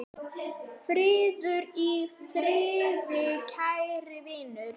Farðu í friði, kæri vinur.